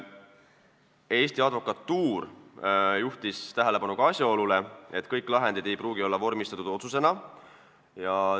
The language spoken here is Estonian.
Eesti Advokatuur juhtis tähelepanu ka asjaolule, et kõik lahendid ei pruugi olla vormistatud otsusena.